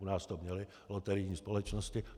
U nás to měly loterijní společnosti.